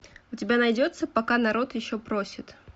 у тебя найдется пока народ еще просит